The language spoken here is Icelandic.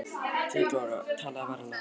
THEODÓRA: Talaðu varlega.